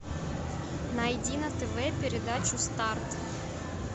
найди на тв передачу старт